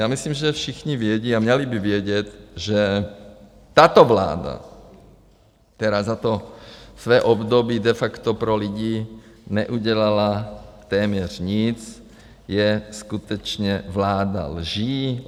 Já myslím, že všichni vědí a měli by vědět, že tato vláda, která za to své období de facto pro lidi neudělala téměř nic, je skutečně vláda lží.